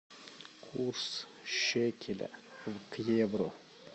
курс шекеля к евро